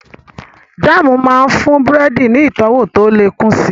Jáàmù máa ń fún búrẹ́dì ní ìtọ́wọ̀ tó lè kún si